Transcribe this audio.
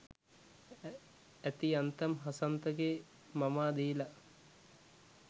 ඇති යන්තම් හසන්තගේ මමා දීලා.